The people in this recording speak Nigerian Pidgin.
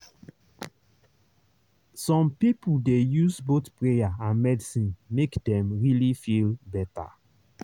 some people dey use both prayer and medicine make dem really feel better.